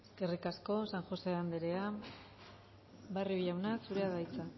eskerrik asko san josé anderea barrio jauna zurea da hitza